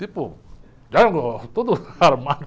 Tipo, Jango, todo armado.